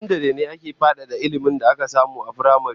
A sakandare ne ake fadada ilmin da aka samu a firamare